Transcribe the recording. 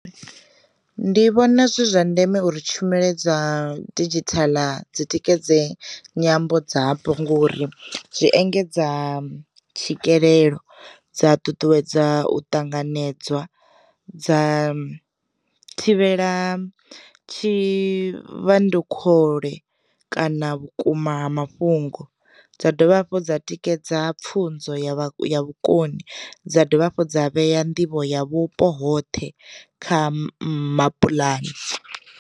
Ndi vhona zwi zwa ndeme uri tshumelo dza didzhithala dzi tikedze nyambo dzapo ngori, zwi engedza tswikelelo dza ṱuṱuwedza u ṱanganedzwa, dza thivhela tshi vhandukhole, kana vhukuma ha mafhungo, dza dovha hafhu dza tikedza pfunzo ya ya vhukoni, dza dovha hafhu dza vhea nḓivho ya vhupo hoṱhe kha mapuḽani.